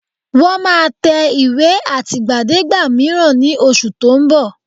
Wọ́n máa tẹ ìwé àtìgbàdégbà mìíràn ní oṣù tó ń bọ̀